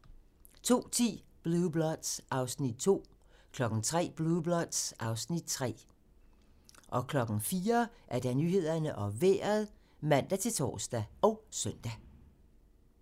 02:10: Blue Bloods (Afs. 2) 03:00: Blue Bloods (Afs. 3) 04:00: Nyhederne og Vejret (man-tor og søn)